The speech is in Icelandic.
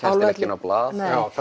á blað